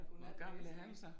Hvor gammel er han så?